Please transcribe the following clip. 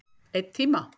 Einn tíma.